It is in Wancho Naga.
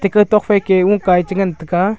kaitok phaike ukae chengan taiga.